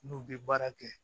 N'u bɛ baara kɛ